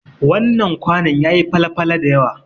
Wannan kwanon yayi fale-fale dayawa.